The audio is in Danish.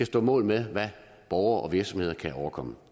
stå mål med hvad borgere og virksomheder kan overkomme